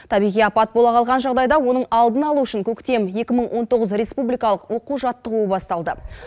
табиғи апат бола қалған жағдайда оның алдын алу үшін көктем екі мың он тоғыз республикалық оқу жаттығуы басталды